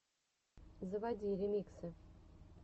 заводи ремиксы